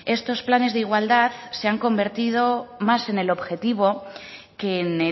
estos planes de igualdad se han convertido más en el objetivo que en